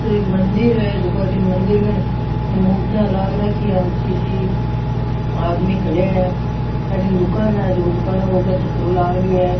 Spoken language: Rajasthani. एक मंदिर है जेको अठीन मंदिर कन मूर्तियां लाग राखी है ऊँची सी आदमी खड़ेया है अठीन दुकान है दुकान के ऊपर छप्रो लाग रे है।